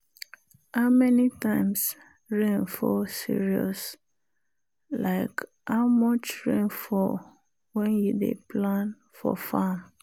how many times rain fall serious like how much rain fall when you dey plan for farm.